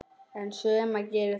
En sumar gera það.